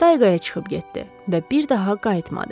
Tayqaya çıxıb getdi və bir daha qayıtmadı.